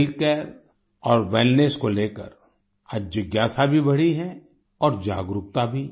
healthcare और wellness को लेकर आज जिज्ञासा भी बढ़ी है और जागरूकता भी